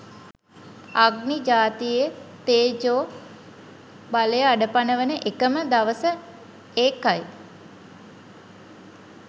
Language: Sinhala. අග්නි ජාතියේ තේජෝ බලය අඩපණ වන එකම දවස ඒකයි